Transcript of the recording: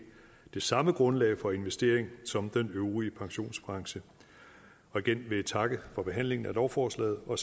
det samme grundlag for investering som den øvrige pensionsbranche igen vil jeg takke for behandlingen af lovforslaget og